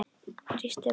Brýst um.